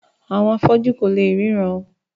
Àwọn afọ́jú kò léè ríran